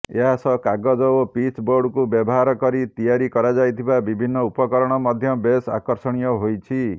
ଏହାସହ କାଗଜ ଓ ପିଚବୋର୍ଡକୁ ବ୍ୟବହାର କରି ତିଆରି କରାଯାଇଥିବା ବିଭିନ୍ନ ଉପକରଣ ମଧ୍ୟ ବେଶ ଆକର୍ଷଣୀୟ ହୋଇଛି